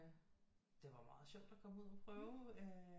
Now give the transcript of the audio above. Det var meget sjovt at komme ud og prøve øh